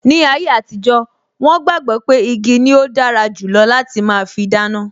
Ni ayé àtijó, wọn gbàgbọ́ pé igi ni ó dára jù lọ láti máa fi dáná